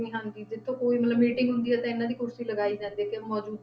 ਹਾਂਜੀ ਜਿੱਥੋਂ ਕੋਈ ਮਤਲਬ meeting ਹੁੰਦੀ ਹੈ ਤੇ ਇਹਨਾਂ ਦੀ ਕੁਰਸੀ ਲਗਾਈ ਜਾਂਦੀ ਹੈ ਕਿ ਮੌਜੂ~